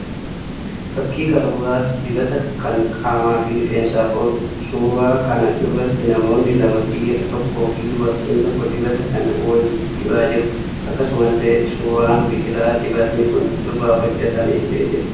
Fakkii qaruuraa dibataa kan qaamaa fi rifeensaaf ooluudha. Suuraa kana irratti namoonni lama dhiiraa tokkoo fi dubartiin tokko dibata kana walii dibaa jiru. Akkasumallee suuraan biqilaa dibatni kun irraa hojjetame illee jira.